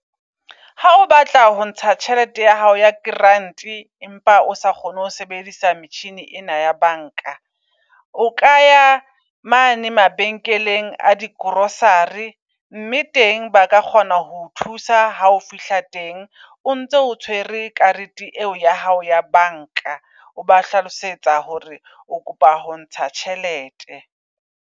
Ha o batla ho ntsha tjhelete ya hao yagrant empa o sa kgone ho sebedisa metjhini ena ya bank-a. O kaya mane mabenkeleng a di grocery mme teng ba ka kgona ho o thusa ha o fihla teng. O ntse o tshwere karete eo ya hao ya bank-a, o ba hlalosetsa hore o kopa ho ntsha tjhelete.